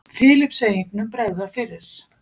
Filippseyingnum bregða fyrir.